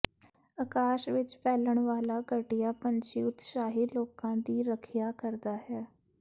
ਅਕਾਸ਼ ਵਿਚ ਫੈਲਣ ਵਾਲਾ ਘਟੀਆ ਪੰਛੀ ਉਤਸ਼ਾਹੀ ਲੋਕਾਂ ਦੀ ਰੱਖਿਆ ਕਰਦਾ ਹੈ